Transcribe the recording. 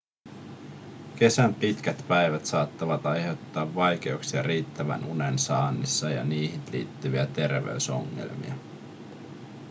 kesän pitkät päivät saattavat aiheuttaa vaikeuksia riittävän unen saannissa ja niihin liittyviä terveysongelmia